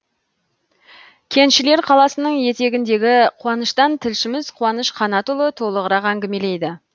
кеншілер қаласының етегіндегі қуаныштан тілшіміз қуаныш қанатұлы толығырақ әңгімелейді